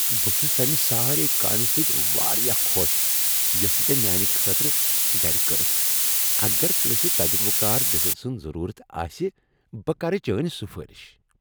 بہٕ چُھس تمہِ سارے كامہِ سٕتۍ واریاہ خۄش یۄسہٕ ژے میانہِ خٲطرٕ گرِ كرٕتھ۔ اگر کٲنسہ تجربہٕ كار دٔسِل سٕنٛز ضرورت آسہِ بہٕ كرٕ چٲنۍ سُفٲرِش۔